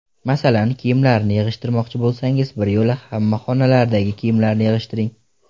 Masalan, kiyimlarni yig‘ishtirmoqchi bo‘lsangiz, biryo‘la hamma xonalardagi kiyimlarni yig‘ishtiring.